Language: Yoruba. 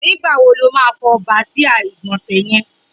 Nigbá wó ló mà fọ bàsiá igbọnsẹ̀ yẹ̀n?